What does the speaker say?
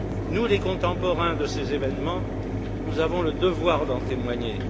Nous, les contemporains de ces événements, nous avons le devoir d'en témoigner.